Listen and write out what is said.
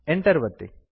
Enter ಒತ್ತಿ